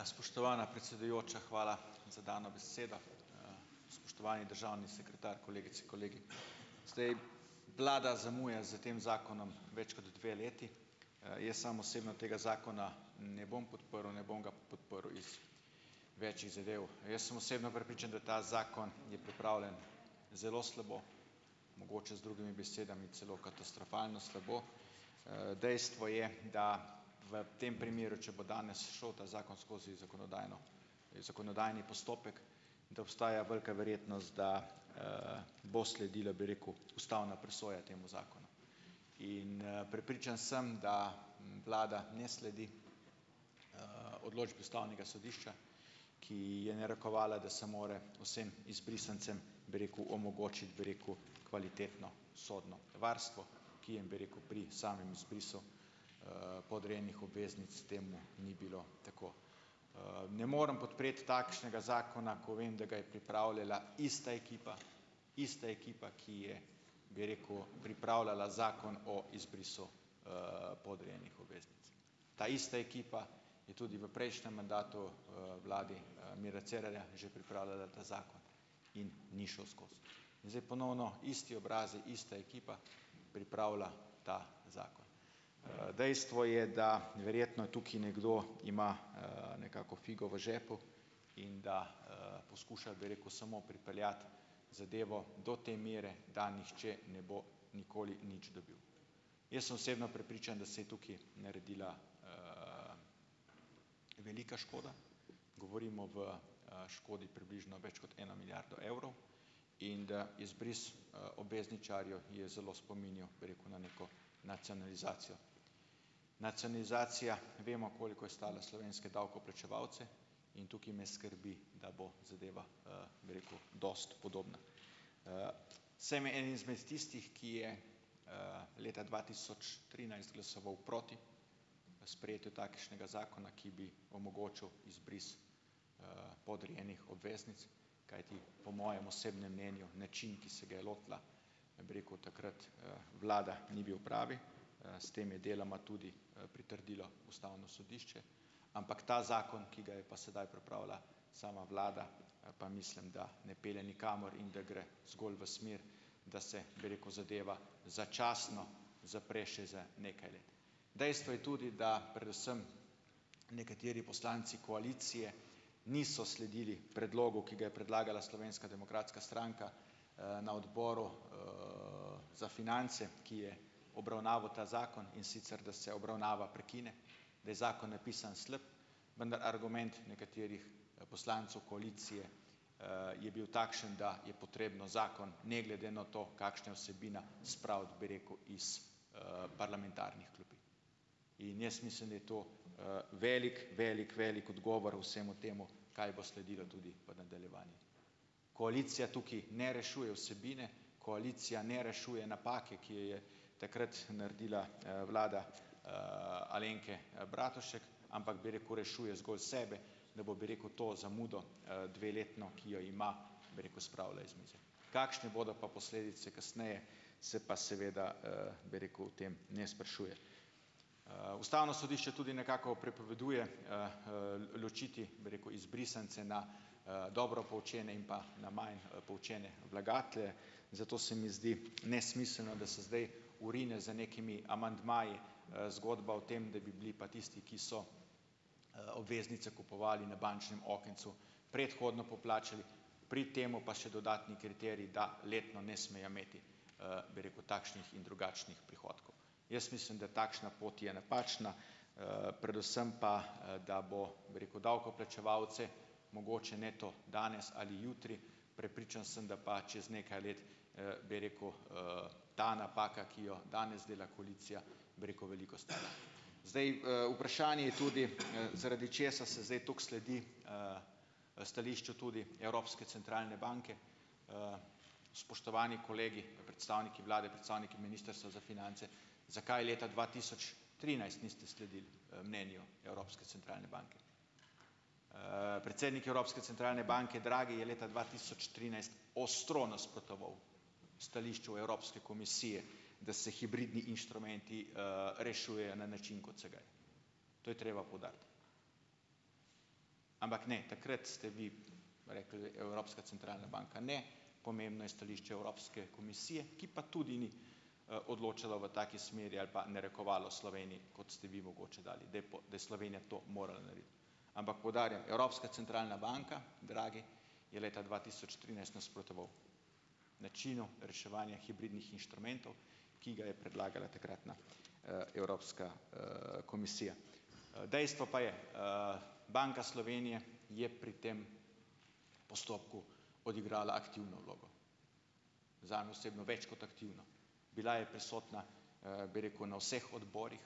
Ja, spoštovana predsedujoča, hvala za dano besedo. Spoštovani državni sekretar, kolegice, kolegi. Zdaj, vlada zamuja s tem zakonom več kot dve leti. jaz sam osebno tega zakona ne bom podprl, ne bom ga podprl iz več zadev. Jaz sem osebno prepričan, da ta zakon je pripravljen zelo slabo, mogoče, z drugimi besedami, celo katastrofalno slabo, dejstvo je, da v tem primeru, če bo danes šel ta zakon skozi zakonodajno, zakonodajni postopek, da obstaja velika verjetnost, da bo sledila, bi rekel, ustavna presoja temu zakonu. In, prepričan sem, da vlada ne sledi odločbi Ustavnega sodišča, ki je narekovala, da se mora vsem izbrisancem, bi rekel, omogočiti, bi rekel, kvalitetno sodno varstvo, ki, bi rekel, pri samem izpisu podrejenih obveznic s tem ni bilo tako. ne morem podpreti takšnega zakona, ko vem, da ga je pripravljala ista ekipa, ista ekipa, ki je, bi rekel, pripravljala Zakon o izbrisu podrejenih obveznic. Ta ista ekipa tudi v prejšnjem mandatu, vladi Mira Cerarja, že pripravljala ta zakon. In ni šel skozi. Zdaj ponovno isti obrazi, ista ekipa pripravlja ta zakon. dejstvo je, da verjetno tukaj nekdo ima nekako figo v žepu in da poskuša, bi rekel, samo pripeljati zadevo do te mere, da nihče ne bo nikoli nič naredil. Jaz sem osebno prepričan, da se je tukaj naredila velika škoda. Govorimo v škodi približno več kot eno milijardo evrov in da izbris obvezničarjev je zelo spominjal, bom rekel, na neko nacionalizacijo. Nacionalizacija vemo, koliko je stala slovenske davkoplačevalce, in tukaj me skrbi, da bo zadeva bi rekel , dosti podobna. sem en izmed tistih, ki je leta dva tisoč trinajst glasoval proti sprejetju takšnega zakona, ki bi omogočil izbris podrejenih obveznic, kajti po mojem osebnem mnenju način, ki se ga je lotila, bi rekel, takrat vlada, ni bil pravi. s tem je deloma tudi pritrdilo Ustavno sodišče. Ampak ta zakon, ki ga je pa sedaj pripravila sama vlada, pa mislim, da ne pelje nikamor in da gre zgolj v smer, da se, bi rekel, zadeva začasno zapre še za nekaj let. Dejstvo je tudi, da predvsem nekateri poslanci koalicije niso sledili predlogu, ki ga je predlagala Slovenska demokratska stranka na Odboru za finance, ki je obravnaval ta zakon in sicer, da se obravnava prekine, da je zakon napisano slab, argument nekaterih poslancev koalicije je bil takšen, da je potrebno zakon, ne glede na to, kakšna je vsebina, spraviti, bi rekel, iz parlamentarnih klopi. In jaz mislim, da je to velik, velik, velik odgovor vsemu temu, kaj bo sledilo tudi v nadaljevanju. Koalicija tukaj ne rešuje vsebine, koalicija ne rešuje napake, ki je je takrat naredila vlada Alenke Bratušek, ampak, bi rekel, rešuje zgolj sebe, da bo, bi rekel, to zamudo dveletno, ki jo ima, bi rekel, spravila iz mize. Kakšne bodo pa posledice, kasneje, se pa seveda bi rekel, o tem ne sprašuje. Ustavno sodišče tudi nekako prepoveduje ločiti, bi rekel, izbrisance na dobro poučene in pa na manj poučene vlagatelje, zato se mi zdi nesmiselno, da se zdaj vrine z nekimi amandmaji zgodba o tem, da bi bili pa tisti, ki so obveznice kupovali na bančnem okencu, predhodno poplačani, pri tem pa še dodatni kriterij, da letno ne smejo imeti, bi rekel, takšnih in drugačnih prihodkov. Jaz mislim, da takšna pot je napačna , predvsem pa da bo, bi rekel, davkoplačevalce, mogoče ne to danes ali jutri, prepričan sem, da pa čez nekaj let, bi rekel, ta napaka, ki jo danes dela koalicija, bi rekel, veliko stala. Zdaj vprašanje je tudi, zaradi česa se zdaj tako sledi stališču tudi Evropske centralne banke? spoštovani kolegi, predstavniki vlade, predstavniki Ministrstva za finance, zakaj leta dva tisoč trinajst niste sledili mnenju Evropske centralne banke? predsednik Evropske centralne banke, Draghi, je leta dva tisoč trinajst ostro nasprotoval stališču Evropske komisije, da se hibridni inštrumenti rešujejo na način kot sedaj. To je treba poudariti. Ampak ne, takrat ste vi rekli, Evropska centralna banka ne, pomembno je stališče Evropske komisije, ki pa tudi ni odločala v taki smeri ali pa narekovalo Sloveniji, kot ste vi mogoče dali, da da je Slovenija to morala narediti. Ampak poudarjam, Evropska centralna banka, Draghi, je leta dva tisoč trinajst nasprotoval načinu reševanja hibridnih inštrumentov, ki ga je predlagala takratna Evropska komisija. dejstvo pa je, Banka Slovenije je pri tem postopku odigrala aktivno vlogo. Zame osebno več kot aktivno. Bila je prisotna, bi rekel, na vseh odborih,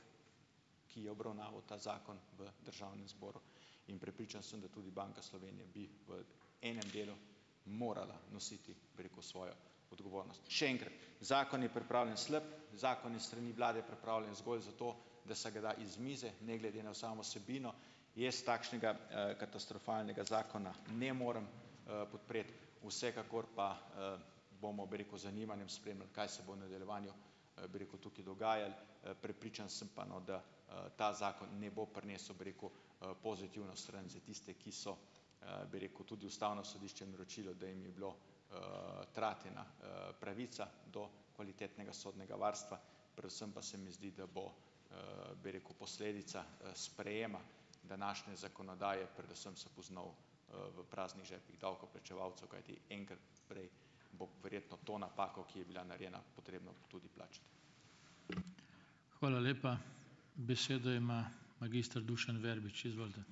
ki je obravnaval ta zakon v Državnem zboru. In prepričan sem, da tudi Banka Slovenije bi v enem delu morala nositi, bi rekel, svojo odgovornost. In še enkrat, zakon je pripravljen slab, zakon je s strani vlade pripravljen zgolj zato, da se ga da iz mize ne glede na samo vsebino. Jaz takšnega katastrofalnega zakona ne morem podpreti, vsekakor pa bomo, bi rekel, z zanimanjem spremljali, kaj se bo v nadaljevanju, bi rekel, tukaj dogajalo. prepričan sem pa, no, da ta zakon ne bo prinesel, bi rekel, pozitivno stran za tiste, ki so, bi rekel, tudi Ustavno sodišče določilo, da jim je bilo kratena pravica do kvalitetnega sodnega varstva, predvsem pa se mi zdi, da bo, bi rekel, posledica sprejema današnje zakonodaje predvsem se poznal v praznih žepih davkoplačevalcev, kajti enkrat prej bo verjetno to napako, ki je bila narejena, potrebno tudi plačati. Hvala lepa. Besedo ima magister Dušan Verbič, izvolite.